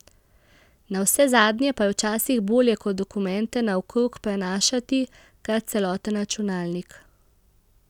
Navsezadnje pa je včasih bolje kot dokumente naokrog prenašati kar celoten računalnik.